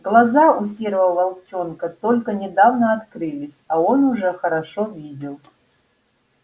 глаза у серого волчонка только недавно открылись а он уже хорошо видел